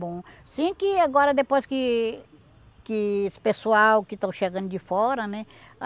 Bom, sim que agora depois que que o pessoal que estão chegando de fora, né?